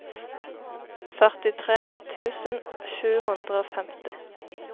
førtitre tusen sju hundre og femti